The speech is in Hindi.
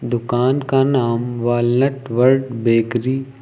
दुकान का नाम वॉलनट वर्ल्ड बेकरी --